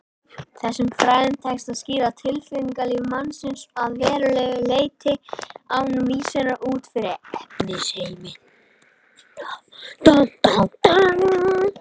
Þessum fræðum tekst að skýra tilfinningalíf mannsins að verulegu leyti án vísunar út fyrir efnisheiminn.